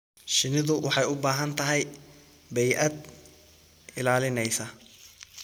Shinnidu waxay u baahan tahay bay'ad ilaalinaysa.